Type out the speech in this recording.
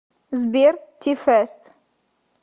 сбер ти фэст